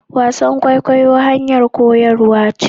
wasan kwaikwayo hanyar koyarwa ce